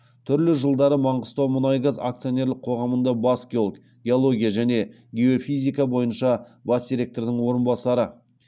түрлі жылдары маңғыстаумұнайгаз акционерлік қоғамында бас геолог геология және геофизика бойынша бас директордың орынбасары